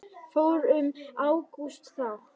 Fór um Ágúst þá?